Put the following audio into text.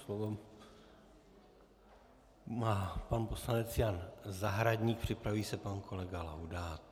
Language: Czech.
Slovo má pan poslanec Jan Zahradník, připraví se pan kolega Laudát.